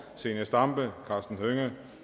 zenia stampe karsten hønge